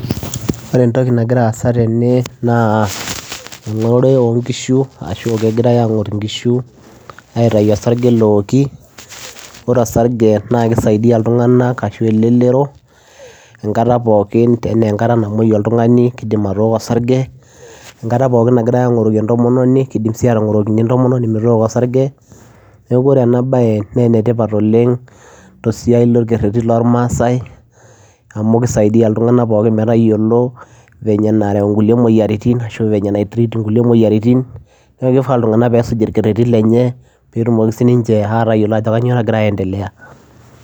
Ore entoki nagira aasa tene naa eng'orore onkishu ashu kegirae ang'or inkishu aitayu osarge lowoki ore osarge naa kisaidia iltung'anak ashu elelero enkata pookin enaa enkata namuoi oltung'ani kidim atooko osarge enkata pookin nagira ang'oroki entomononi kidim sii atang'orokini entomononi metooko osarge neku ore ena baye naa enetipat oleng tosiai lorkereti lormasae amu kisaidiyia iltung'anak pookin metayiolo venye enarew nkulie moyiaritin ashu nae treat nkulie moyiaritin neku kifaa iltung'anak peesuj ilkerretin lenye petumoki sininche atayiolo ajo kanyio nagira aendelea.